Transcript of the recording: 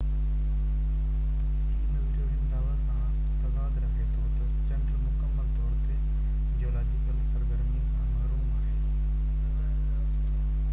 هي نظريو هن دعويٰ سان تضاد رکي ٿو تہ چنڊ مڪمل طور تي جيولاجيڪل سرگرمي سان محروم آهي